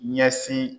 Ɲɛsin